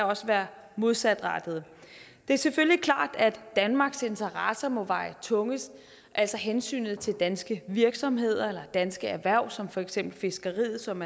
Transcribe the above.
også være modsatrettede det er selvfølgelig klart at danmarks interesser må veje tungest altså hensynet til danske virksomheder eller danske erhverv som for eksempel fiskeriet som